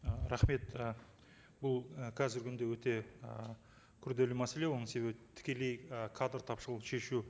ы рахмет і бұл і қазіргі күнде өте ы күрделі мәселе оның себебі тікелей і кадр тапшылықты шешу